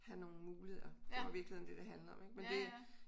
Have nogle muligheder det er i virkeligheden det det handler om ik men det